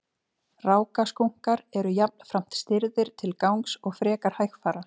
rákaskunkar eru jafnframt stirðir til gangs og frekar hægfara